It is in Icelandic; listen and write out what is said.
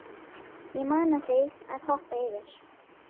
Ég mana þig að hoppa yfir.